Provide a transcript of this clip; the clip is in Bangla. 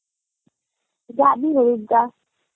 যাবি হরিদ্বার